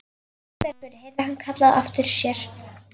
Guðbergur heyrði hann kallað á eftir sér.